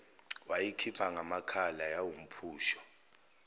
wayikhipha ngamakhala yawumphusho